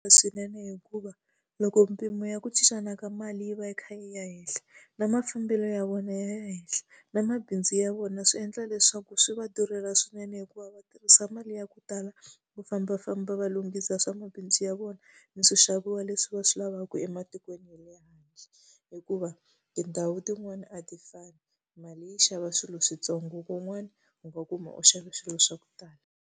Swinene hikuva loko mpimo ya ku cincana ka mali yi va yi kha yi ya henhla, na mafambelo ya vona ya henhla, na mabindzu ya vona swi endla leswaku swi va durhela swinene hikuva va tirhisa mali ya ku tala va fambafamba va va lunghisa swa mabindzu ya vona, ni swixaviwa leswi va swi lavaka ematikweni ya le handle. Hikuva tindhawu tin'wani a ti fani, mali yi xava swilo swintsongo kun'wani u nga ku ma xava swilo swa ku tala.